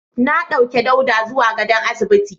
Na dauke Dauda zuwa gadon asibiti.